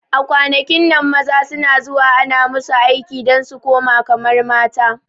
A kwanakin nan maza suna zuwa ana musu aiki dan su kuma kamar mata